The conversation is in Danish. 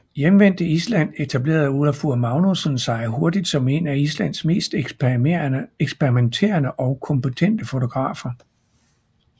Hjemvendt til Island etablerede Ólafur Magnússon sig hurtigt som en af Islands mest eksperimenterende og kompetente fotografer